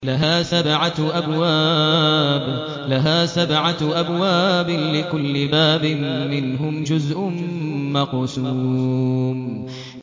لَهَا سَبْعَةُ أَبْوَابٍ لِّكُلِّ بَابٍ مِّنْهُمْ جُزْءٌ مَّقْسُومٌ